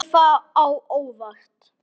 Kemur það á óvart?